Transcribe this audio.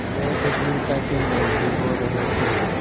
वे सजीवता की मूर्ति हो रहे थे